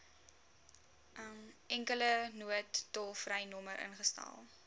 enkele noodtolvrynommer ingestel